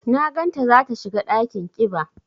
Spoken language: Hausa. Na gan ta za ta shiga ɗakin ƙiba.